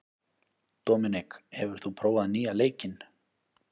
Dominik, hefur þú prófað nýja leikinn?